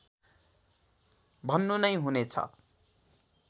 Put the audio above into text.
भन्नु नै हुनेछ